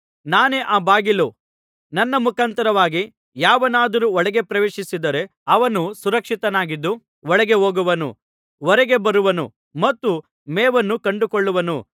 ನಾನೇ ಆ ಬಾಗಿಲು ನನ್ನ ಮುಖಾಂತರವಾಗಿ ಯಾವನಾದರೂ ಒಳಗೆ ಪ್ರವೇಶಿಸಿದರೆ ಅವನು ಸುರಕ್ಷಿತನಾಗಿದ್ದು ಒಳಗೆ ಹೋಗುವನು ಹೊರಗೆ ಬರುವನು ಮತ್ತು ಮೇವನ್ನು ಕಂಡುಕೊಳ್ಳುವನು